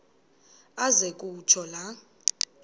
aze kutsho la